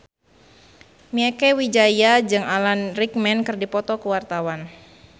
Mieke Wijaya jeung Alan Rickman keur dipoto ku wartawan